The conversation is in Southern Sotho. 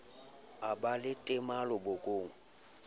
a ba le temalo bokong